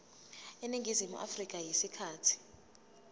eningizimu afrika isikhathi